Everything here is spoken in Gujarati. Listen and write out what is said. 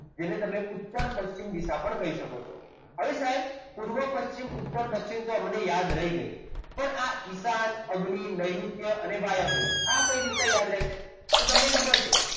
જેને તમે ઉત્તર પશ્ચિમ દિશા પણ કહી શકો છો હવે સાહેબ પૂર્વ પશ્ચિમ ઉત્તર દક્ષિણ અમને યાદ રહી ગયું પણ ઈશાન અગ્નિ નૈઋત્ય અને વાયવ્ય આ કઈ રીતે યાદ રહેશે તો તમને ખબર છે